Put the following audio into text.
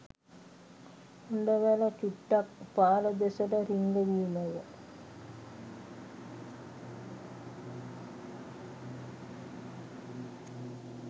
හොඬවැල චුට්ටක් පාර දෙසට රිංගවීමය.